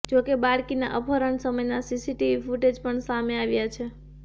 જો કે બાળકીના અપહરણ સમયના સીસીટીવી ફૂટેજ પણ સામે આવ્યા છે